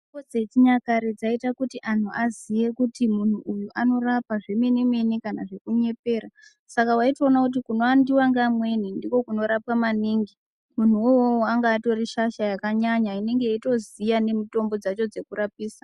Mitombo dzechinyakare dzaiita kuti antu aziye kuti muntu uyu anorapa zvemenemene kana zvekunyepera, saka waitoona kuti kunowandiwa ngeamweni ndiko kunorapiwa maningi, muntu wouwowo anga atorishasha yakanyanya inenge yeitoziya nemitombo dzacho dzekurapisa.